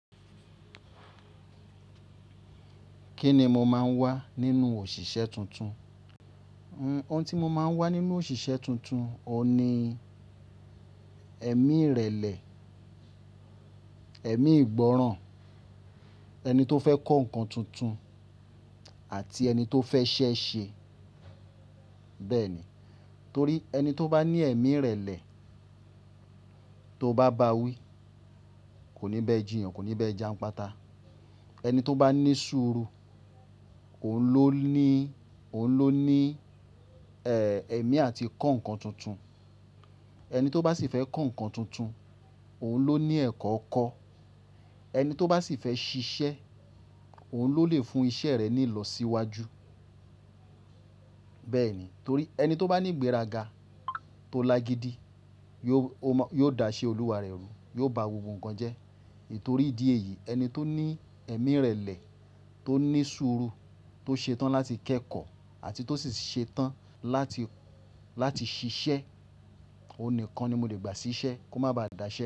Kí ni mo máa ń wá nínú òṣìṣẹ́ tuntun? Ohun tí mo máa ń wá nínú òṣìṣẹ́ tuntun, ọ̀ ni ẹ̀mí ìrẹ̀lẹ̀, ẹ̀mí ìgbọ́ràn, ẹni tó fẹ́ kọ́ nǹkan tuntun àti ẹni tó fẹ́ iṣẹ́ ṣe. Bẹ́ẹ̀ ni, torí ẹni tó bá ní ẹ̀mí ìrẹ̀lẹ̀ tó bá bá wí, kò ní bẹ́ ji yan, kò ní bẹ́ ja n pátá. Ẹni tó bá ní ṣúru, òun ló ní, òun ló ní, ẹ̀mí àti kọ́ nǹkan tuntun. Ẹni tó bá sì fẹ́ kọ́ nǹkan tuntun, òun ló ní ẹ̀kọ́ kọ́. Ẹni tó bá sì fẹ́ ṣiṣẹ́, òun ló lè fún iṣẹ́ rẹ̀ ní ìlọ̀síwájú. Bẹ́ẹ̀ ni, torí ẹni tó bá ní ìgbéraga tó lágidi, yóò, ó má, yóò dáṣẹ́ olúwa rẹ̀ rú, yóò bá gbogbo nǹkan jẹ́. Nítorí ìdí èyí, ẹni tó ní ẹ̀mí ìrẹ̀lẹ̀, tó ní ṣúru, tó ṣetán láti kẹ́kọ̀ọ́ àti tó sì ṣetán láti, láti ṣiṣẹ́, òun nìkan ni mo lè gbà sí iṣẹ́ kó má ba à dáṣẹ́